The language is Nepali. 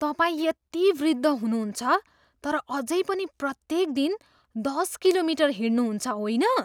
तपाईँ यति वृद्ध हुनुहुन्छ तर अझै पनि प्रत्येक दिन दस किलोमिटर हिँड्नुहुन्छ, होइन?